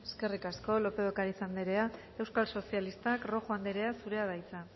eskerrik asko lópez de ocariz anderea euskal sozialistak rojo anderea zurea da hitza